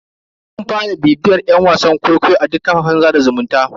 Zan fara bibiyar yan wasan kwaikwayo a duk kafafen sada zumunta.